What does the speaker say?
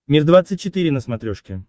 мир двадцать четыре на смотрешке